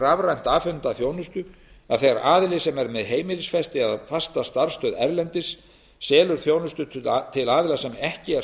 rafrænt afhenta þjónustu að þegar aðili sem er með heimilisfesti eða fasta starfsstöð erlendis selur þjónustu aðilum sem ekki er